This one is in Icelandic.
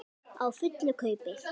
Á fullu kaupi.